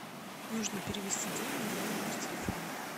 нужно перевести деньги на мой номер телефона